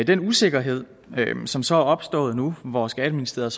den usikkerhed som så er opstået nu hvor skatteministeriet